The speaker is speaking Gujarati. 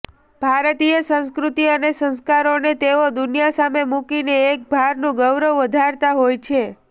ભારતીય સંસ્કૃતિ અને સંસ્કારોને તેઓ દુનિયા સામે મુકીને એક ભારનું ગૌરવ વધારતા હોય છે